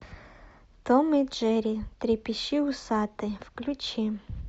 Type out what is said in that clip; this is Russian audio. том и джерри трепещи усатый включи